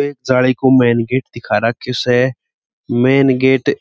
ये जाली को मैन गेट दिखा राखे स मैन गेट